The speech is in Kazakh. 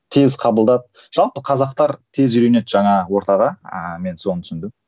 тез қабылдап жалпы қазақтар тез үйренеді жаңа ортаға ыыы мен соны түсіндім